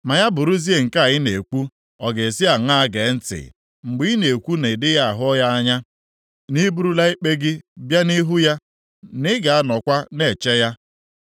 Ma ya bụrụzie nke a ị na-ekwu, ọ ga-esi aṅaa gee ntị mgbe ị na-ekwu na ị dịghị ahụ ya anya, na i burula ikpe gị bịa nʼihu ya na ị ga-anọkwa na-eche ya!